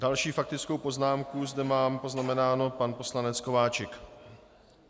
Další faktickou poznámku zde mám poznamenánu - pan poslanec Kováčik.